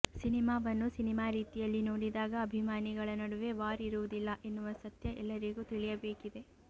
ಸಿನಿಮಾವನ್ನು ಸಿನಿಮಾ ರೀತಿಯಲ್ಲಿ ನೋಡಿದಾಗ ಅಭಿಮಾನಿಗಳ ನಡುವೆ ವಾರ್ ಇರುವುದಿಲ್ಲ ಎನ್ನುವ ಸತ್ಯ ಎಲ್ಲರಿಗೂ ತಿಳಿಯಬೇಕಿದೆ